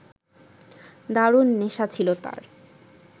দারুণ নেশা ছিল তাঁর